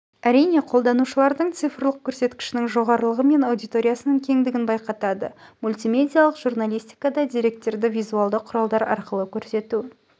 әрине қолданушылардың цифрлық көрсеткішінің жоғарылығы мен аудиториясының кеңдігін байқатады мультимедиалық журналистикада деректерді визуалды құралдар арқылы көрсету